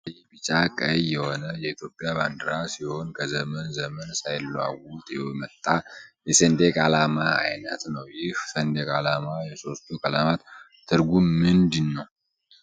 አረንጓዴ ቢጫ ቀይ የሆነ የኢትዮጵያ ባንዲራ ሲሆን ከዘመን ዘመን ሳይለዋወጥ የመጣ የሰንደቅ አላማ አይነት ነው ይህ ሰንደቅ ዓላማ ።የሶስቱ ቀለማት ትርጉም ምንድነው?